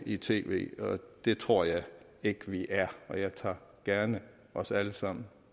i tv det tror jeg ikke vi er og jeg tager gerne os alle sammen